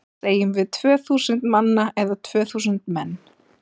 Segjum við tvö þúsund manna eða tvö þúsund menn?